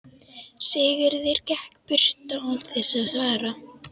Sigurður gekk burt án þess að svara.